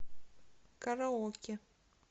караоке